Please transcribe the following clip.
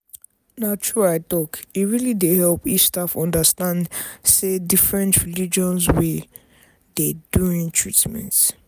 na true i talk e really dey help if staff understand say different religions wey dey during treatment.